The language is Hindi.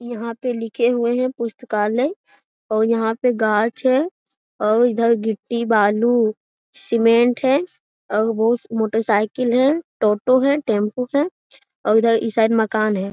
यहाँ पर लिखे हुए हैं पुस्तकालय और यहाँ पर गाज है और इधर गिट्टी बालू सीमेंट है और मोटर साइकिल है टोटो है टेंपो है और इधर इस साइड मकान है।